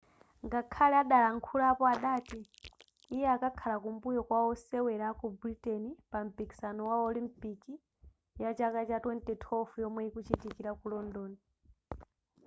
ngakhale adalankhulapo adati iye akakhala kumbuyo kwa wosewera aku britain pa mpiksano wa olimpiki yachaka cha 2012 yomwe ikuchitikira ku london